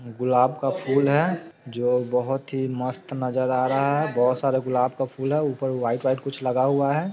गुलाब का फूल है जो बहुत ही मस्त नजर आ रहा है| बहुत सारे गुलाब का फूल है| ऊपर वाइट वाइट कुछ लगा हुआ है।